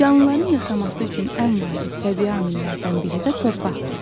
Canlıların yaşaması üçün ən vacib təbii amillərdən biri də torpaqdır.